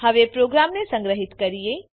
હવે પ્રોગ્રામને સંગ્રહીત કરો